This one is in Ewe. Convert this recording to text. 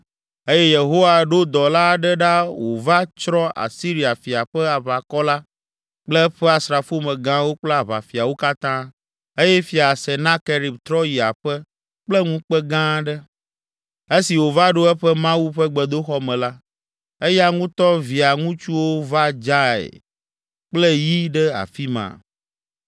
eye Yehowa ɖo dɔla aɖe ɖa wòva tsrɔ̃ Asiria fia ƒe aʋakɔ la kple eƒe asrafomegãwo kple aʋafiawo katã eye Fia Senakerib trɔ yi aƒe kple ŋukpe gã aɖe. Esi wòva ɖo eƒe mawu ƒe gbedoxɔ me la, eya ŋutɔ via ŋutsuwo va dzae kple yi ɖe afi ma.